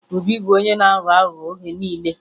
Obi bụ onye na-aghọ aghụghọ oge niile